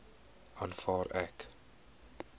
aanvaar ek